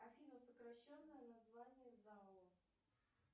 афина сокращенное название зао